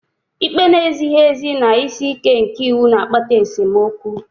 Ikpe na-ezighị ezi na isi ike nke iwu na-akpata esemokwu